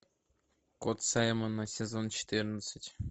кот саймона сезон четырнадцать